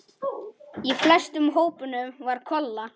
Í flestum hópunum var Kolla.